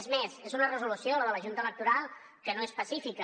és més és una resolució la de la junta electoral que no és pacífica